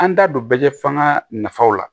An da don bɛɛ lajɛ fɔ an ka nafaw la